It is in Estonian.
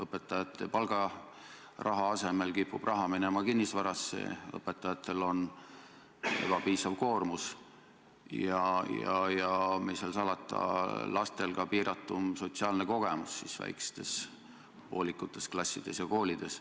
Õpetajate palgaraha asemel kipub raha minema kinnisvarasse ning õpetajatel on ebapiisav koormus, ja mis seal salata, lastel ka piiratum sotsiaalne kogemus väikestes, poolikutes klassides ja koolides.